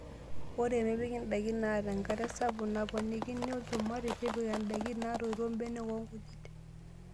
Ore mepikii ndaikin naata enkare sapuk naponikini olchumati. Tipika ndaikin natoito, mbenek oo nkujit.